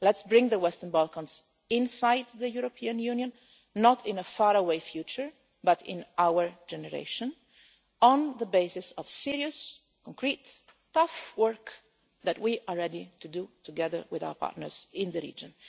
Let's bring the Western Balkans inside the European Union not in a faraway future but in our generation on the basis of serious, concrete and tough work that we are ready to do together with our partners in the region.